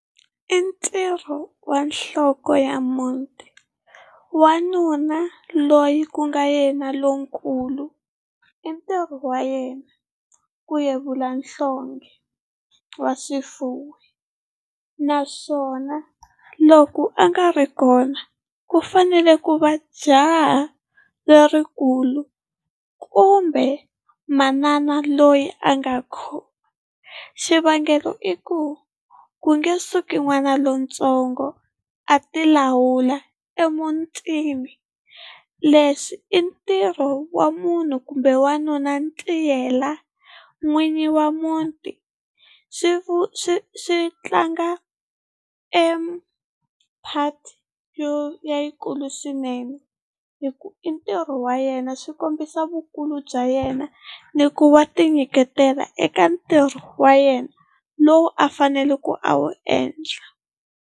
I ntirho ya nhloko ya muti wanuna loyi ku nga yena lonkulu i ntirho wa yena ku yevula nhlonghe wa swifuwo, naswona loko a nga ri kona ku fanele ku va jaha lerikulu kumbe manana loyi a nga khomba. Xivangelo i ku ku nge suki n'wana lontsongo a ti lawula emutini leswi i ntirho wa munhu kumbe wanuna ntiyela n'winyi wa muti swi swi swi tlanga e part leyikulu swinene hikuva i ntirho wa yena swi kombisa vukulu bya yena ni ku wa tinyiketela eka ntirho wa yena lowu a faneleke a wu endla.